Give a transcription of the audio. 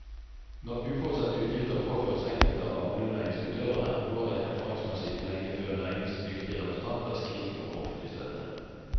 Når uforutsette utgifter påføres enkelte av bondenæringens utøvere, går det erfaringsmessig ikke lenge før næringens dyktige representanter skriker om offentlig støtte.